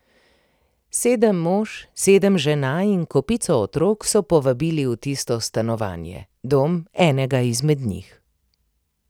Sedem mož, sedem žena in kopico otrok so povabili v tisto stanovanje, dom enega izmed njih.